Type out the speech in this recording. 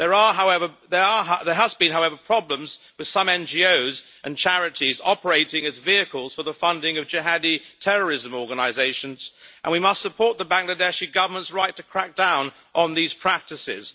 However, there have been problems with some NGOs and charities operating as vehicles for the funding of jihadi terrorism organisations and we must support the Bangladeshi Government's right to crack down on these practices.